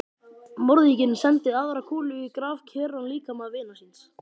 Morðinginn sendi aðra kúlu í grafkyrran líkama vinar síns.